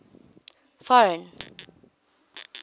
foreign